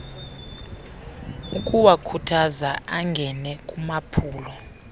ukuwakhuthaza angene kumaphulo